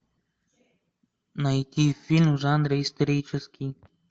найти фильм в жанре исторический